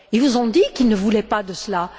Ils vous ont dit qu'ils ne voulaient pas de cela.